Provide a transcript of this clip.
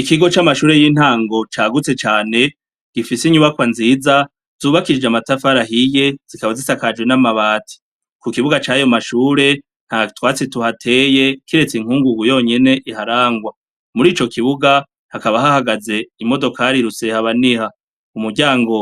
Ikigo c'amashure y'intango cagutse cane gifise inyubakwa nziza zubakirije amatafarahiye zikaba zisakajwe n'amabati ku kibuga cayo mashure nta twatsi tuhateye kiretse inkungugu yonyene iharangwa muri ico kibuga hakaba hahagaze imodokarirutsehaba niha umuryango